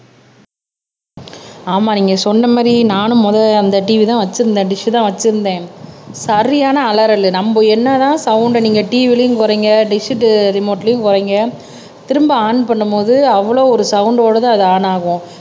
ஆமா நீங்க சொன்ன மாரி நானும் முத அந்த TV தான் வச்சிருந்தேன் டிஷ் தான் வச்சிருந்தேன் சரியான அலறலு நம்ப என்னதான் சவுண்ட நீங்க TV லயும் குறைங்க டிஷ் ரிமோட்லயும் குறைங்க திரும்ப ஆன் பண்ணும் போது அவ்ளோ ஒரு சவுண்ட் ஓடதான் அது ஆன் ஆகும்